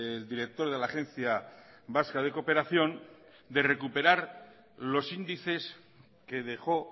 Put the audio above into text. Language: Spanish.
el director de la agencia vasca de cooperación de recuperar los índices que dejó